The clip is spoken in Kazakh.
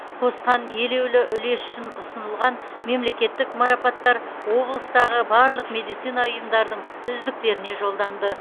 қосқан елеулі үлесі үшін ұсынылған мемлекеттік марапаттар облыстағы барлық медицина ұйымдардың үздіктеріне жолданды